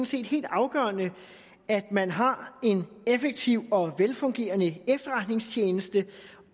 set helt afgørende at man har en effektiv og velfungerende efterretningstjeneste